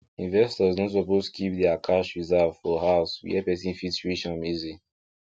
investors no suppose keep their cash reserve for house where person fit reach am easy